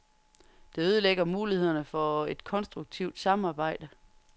Det ødelægger mulighederne for et konstruktivt samarbejde.